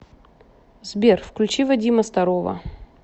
сбер включи вадима старова